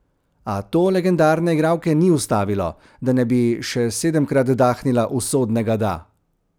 A to legendarne igralke ni ustavilo, da ne bi še sedemkrat dahnila usodnega da.